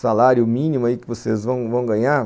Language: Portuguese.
salário mínimo que vocês vão vão ganhar.